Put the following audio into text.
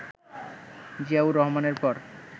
জিয়াউর রহমানের পর